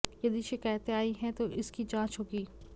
यदि शिकायतें आई हैं तो इसकी जांच होगी